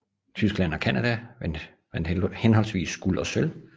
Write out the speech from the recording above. Tyskland og Canada vandt henholdsvis guld og sølv